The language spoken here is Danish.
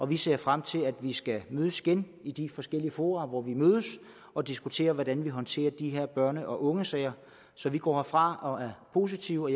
vi ser frem til at vi skal mødes igen i de forskellige fora hvor vi mødes og diskutere hvordan vi håndterer de her børne og ungesager så vi går herfra og er positive og